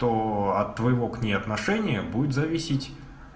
то от твоего к ней отношения будет зависеть